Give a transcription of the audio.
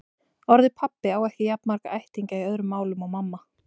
Orðið pabbi á ekki jafn marga ættingja í öðrum málum og mamma.